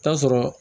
Taa sɔrɔ